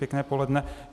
Pěkné poledne.